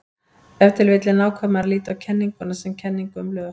Ef til vill er nákvæmara að líta á kenninguna sem kenningu um lög.